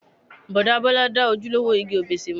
Bọ̀dá Bọ́lá dá ojúlówó igi òbéṣé mọ̀.